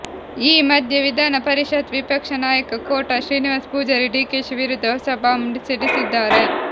ಈ ಮಧ್ಯೆ ವಿಧಾನ ಪರಿಷತ್ ವಿಪಕ್ಷ ನಾಯಕ ಕೋಟ ಶ್ರೀನಿವಾಸ ಪೂಜಾರಿ ಡಿಕೆಶಿ ವಿರುದ್ಧ ಹೊಸ ಬಾಂಬ್ ಸಿಡಿಸಿದ್ದಾರೆ